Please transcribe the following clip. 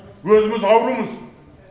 өзіміз аурумыз